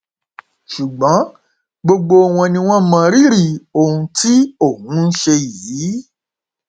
ṣùgbọn gbogbo wọn ni wọn mọ rírì ohun tí òun ṣe yìí